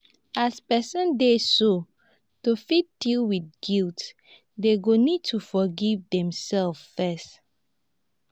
as person dey so to fit deal with guilt dem go need to forgive dem self first